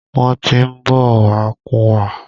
Wọ́n tí ń bọ̀ wá kúnwa.